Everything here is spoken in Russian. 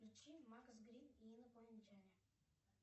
включи макс грин и инопланетяне